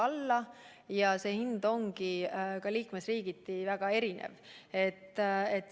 Aga see hind on ka liikmesriigiti väga erinev.